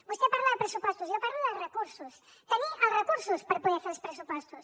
vostè parla de pressupostos jo parlo de recursos tenir els recursos per poder fer els pressupostos